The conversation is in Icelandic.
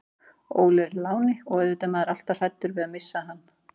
Óli er í láni og auðvitað er maður alltaf hræddur við að missa hann.